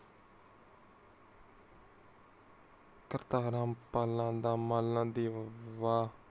ਕਰਤਾ ਹਰਾਮ ਮਾਲਾ ਦੀ ਬਾਲਾ ਬਾ